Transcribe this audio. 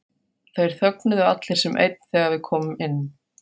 Þeir þögnuðu allir sem einn þegar við komum inn.